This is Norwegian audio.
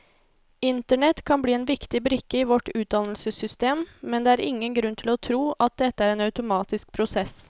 Internett kan bli en viktig brikke i vårt utdannelsessystem, men det er ingen grunn til å tro at dette er en automatisk prosess.